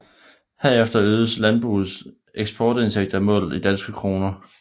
Herved øgedes landbrugets eksportindtægter målt i danske kroner